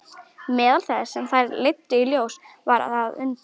Meðal þess sem þær leiddu í ljós var að undir